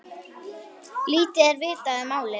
Lítið er vitað um málið.